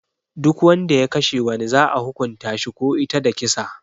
Duk Wanda ya Kashe wani za'a hukunta shi ko ita da kisa.